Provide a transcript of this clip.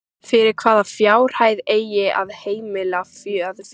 Fyrir hvaða fjárhæð eigi að heimila aðför?